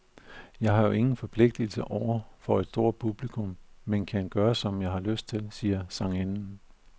Jeg har jo ingen forpligtelser over for et stort publikum, men kan gøre som jeg har lyst til, siger sangerinden.